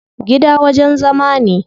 Gida wajen zama ne.